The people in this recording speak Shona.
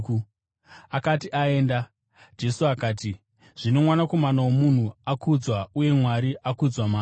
Akati aenda, Jesu akati, “Zvino Mwanakomana woMunhu akudzwa uye Mwari akudzwa maari.